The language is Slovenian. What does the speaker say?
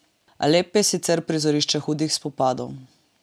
Alep je sicer prizorišče hudih spopadov.